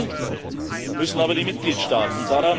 Umsetzen müssen aber die Mitgliedstaaten.